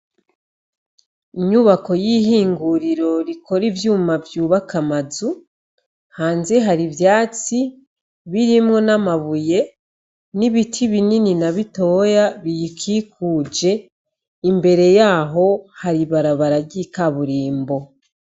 Inyubako y'ihinguriro rikore ivyuma vyubaka amazu hanze hari ivyatsi birimwo n'amabuye n'ibiti binini na bitoya biyikikuje imbere yaho hari barabaragika burimbo.